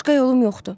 Başqa yolum yoxdur.